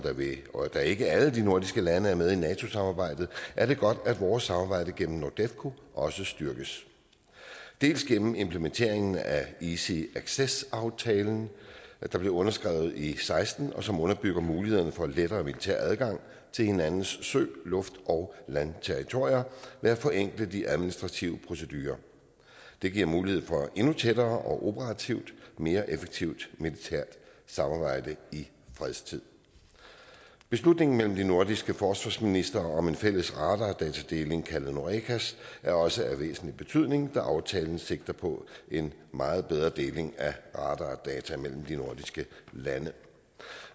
og da ikke alle de nordiske lande er med i nato samarbejdet er det godt at vores samarbejde gennem nordefco også styrkes delvis gennem implementeringen af easy access aftalen der blev underskrevet i seksten og som underbygger mulighederne for lettere militær adgang til hinandens sø luft og landterritorier ved at forenkle de administrative procedurer det giver mulighed for endnu tættere og operativt mere effektivt militært samarbejde i fredstid beslutningen mellem de nordiske forsvarsministre om en fælles radardatadeling kaldet norecas er også af væsentlig betydning da aftalen sigter på en meget bedre deling af data mellem de nordiske lande